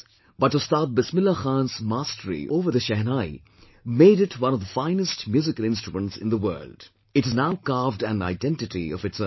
But Ustad Bismillah Khan's mastery over the Shehnai made it one of the finest musical instruments in the world; it has now carved an identity of its own